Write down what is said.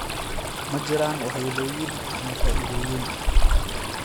Ma jiraan waxyeellooyin ama faa'iidooyin?